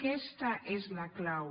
aquesta és la clau